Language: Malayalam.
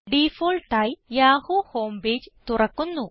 ഡിഫാൾട്ട് ആയി യാഹൂ ഹോം പേജ് തുറക്കുന്നു